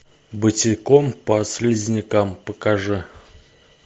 босиком по слизнякам покажи